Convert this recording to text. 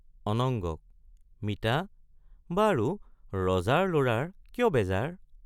অনঙ্গক মিতা বাৰু ৰজাৰ লৰাৰ কিয় বেজাৰ?